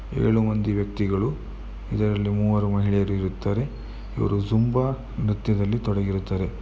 ಏಳು ಮಂದಿ ವ್ಯಕ್ತಿಗಳು ಇದರಲ್ಲಿ ಮೂವರು ಮಹಿಳೆಯರು ಇರುತ್ತಾರೆ ಇವರು ತುಂಬಾ ನೃತ್ಯದಲ್ಲಿ ತೊಡಗಿರುತ್ತಾರೆ .